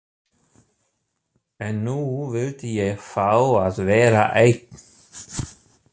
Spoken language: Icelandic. En nú vildi ég fá að vera einn.